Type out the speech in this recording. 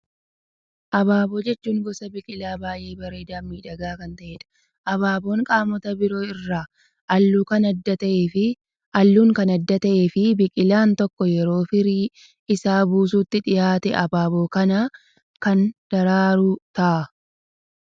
Abaaboo jechuun gosa biqilaa baayyee bareedaa fi miidhagaa kan ta'edha. Abaaboon qaamota isaa biroo irraa halluun kan adda ta'ee fi biqilaan tokko yeroo firii isaa buusuutti dhihaate, abaaboo kana kan daraaru ta'a.